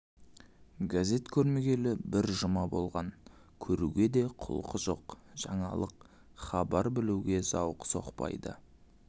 газет көрмегелі бір жұма болған көруге де құлқы жоқ жаңалық хабар білуге зауқы соқпайды